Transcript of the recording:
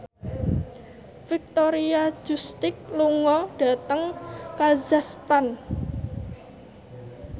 Victoria Justice lunga dhateng kazakhstan